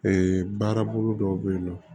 baarabolo dɔw bɛ yen nɔ